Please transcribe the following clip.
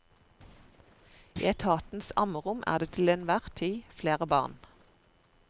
I etatens ammerom er det til enhver tid flere barn.